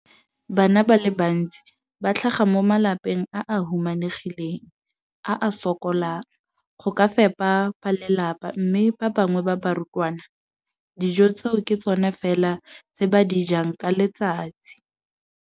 Bana ba le bantsi ba tlhaga mo malapeng a a humanegileng a a sokolang go ka fepa ba lelapa mme ba bangwe ba barutwana, dijo tseo ke tsona fela tse ba di jang ka letsatsi.